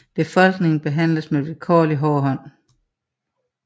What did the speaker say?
Befolkningen behandles med vilkårlig hård hånd